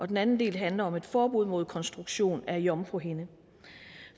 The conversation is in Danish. den anden del handler om et forbud mod konstruktion af jomfruhinder